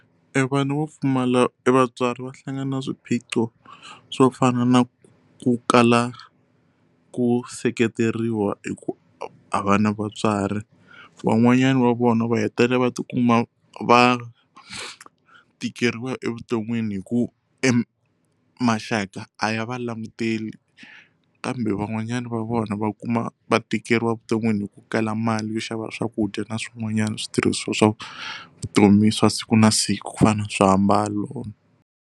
Evana va pfumala i vatswari va hlangana na swiphiqo swo fana na ku kala ku seketeriwa hi ku a va na vatswari van'wanyana va vona va hetelela va ti kuma va tikeriwa evuton'wini hi ku e maxaka a ya va languteli kambe van'wanyana va vona va kuma va tikeriwa evuton'wini hi ku kala mali yo xava swakudya na swin'wanyana switirhiswa swa vutomi swa siku na siku ku fana na swiambalo.